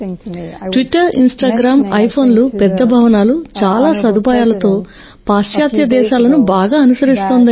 Twitter Instagram ఐఫోన్లు పెద్ద భవనాలు చాలా సదుపాయాలతో పాశ్చాత్య దేశాలను బాగా అనుసరిస్తోందని